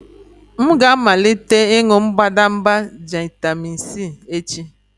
M ga-amalite ịṅụ mbadamba Gentamycin echi.